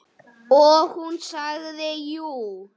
Og hún sagði jú.